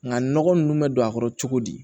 Nka nɔgɔ nunnu bɛ don a kɔrɔ cogo di